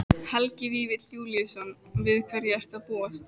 Helgi Vífill Júlíusson: Við hverju ertu að búast?